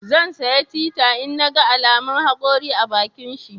Zan saya tita in naga alaman hakori a bakinshi